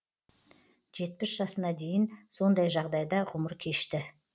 жетпіс жасына дейін сондай жағдайда ғұмыр кешті